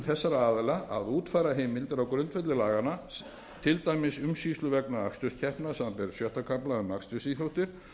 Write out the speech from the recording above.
þessara aðila að útfæra heimildir á grundvelli laganna til dæmis umsýslu vegna aksturskeppna samanber sjötta kafla um akstursíþróttir